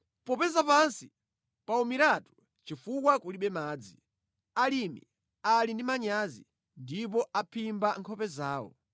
Popeza pansi pawumiratu chifukwa kulibe madzi, alimi ali ndi manyazi ndipo amphimba nkhope zawo.